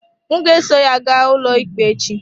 M ga-eso ya gaa ụlọikpe echi.